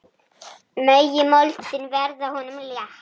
Megi moldin verða honum létt.